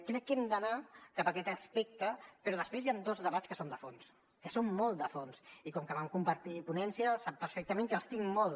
crec que hem d’anar cap a aquest aspecte però després hi han dos debats que són de fons que són molt de fons i com que vam compartir ponència sap perfectament que els tinc molt